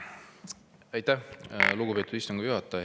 Aitäh, lugupeetud istungi juhataja!